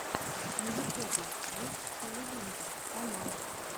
на ютубе ген халилинтар канал